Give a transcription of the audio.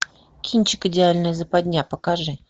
кинчик идеальная западня покажи